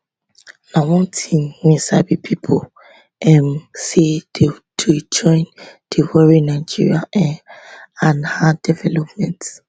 na one tin wey sabi pipo um say dey join dey worry nigeria um and her development